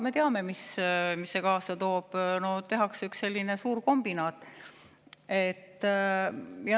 Me teame, mis see kaasa toob: tehakse üks suurkombinaat.